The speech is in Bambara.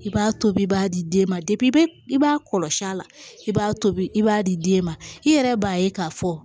I b'a tobi b'a di den ma i b'a i b'a kɔlɔsi a la i b'a tobi i b'a di den ma i yɛrɛ b'a ye k'a fɔ